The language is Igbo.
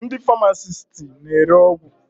Ndị famasisti na-ere ọgwụ.